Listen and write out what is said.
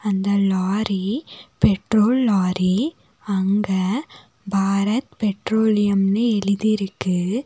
அந்த lorry petrol lorry அங்க பாரத் பெட்ரோலியம்னு எழுதிருக்கு.